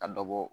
Ka dɔ bɔ